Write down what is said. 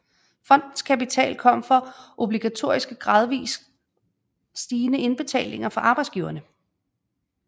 Fondens kapital kom fra obligatoriske gradvist stigende indbetalinger fra arbejdsgiverne